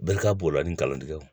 Bɛri ka b'o la ni kalandenw